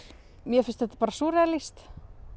mér finnst þetta bara súrrealískt